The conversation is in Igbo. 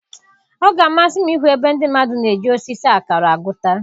Ọ ga-amasị m ịhụ ebe ndị mmadụ na-eji osisi akara agụta.